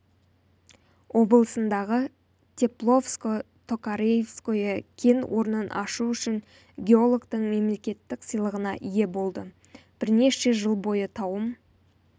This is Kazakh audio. облысындағы тепловско-токаревское кен орнын ашу үшін геологтың мемлекеттік сыйлығына ие болды бірнеше жыл бойы тауым